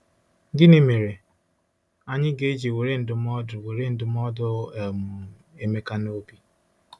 Gịnị mere anyị ga-eji were ndụmọdụ were ndụmọdụ um Emeka n’obi?